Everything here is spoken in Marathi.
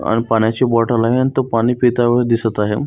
आण पाण्याची बॉटल आहे आणि तो पाणी पिताना दिसत आहे.